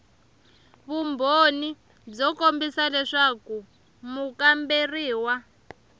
vumbhoni byo kombisa leswaku mukamberiwa